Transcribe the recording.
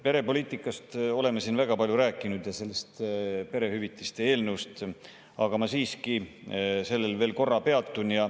Perepoliitikast ja sellest perehüvitiste eelnõust oleme siin väga palju rääkinud, aga ma siiski sellel veel korra peatun.